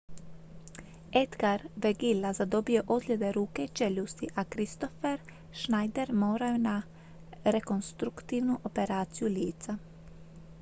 edgar veguilla zadobio je ozljede ruke i čeljusti a kristoffer schneider morao je na rekonstruktivnu operaciju lica